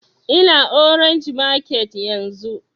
Ina orange market yanzun